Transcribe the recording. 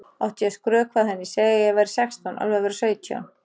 Átti ég að skrökva að henni, segja að ég væri sextán, alveg að verða sautján?